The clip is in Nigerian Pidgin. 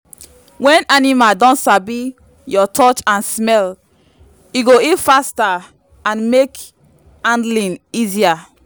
when animal don sabi your touch and smell e go heal faster and make handling easier.